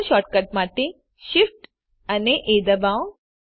keyboard shortcut માટે Shift એ ડબાઓ